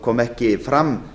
kom ekki fram